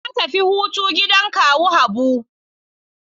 Na tafi hutu gidan kawu Habu.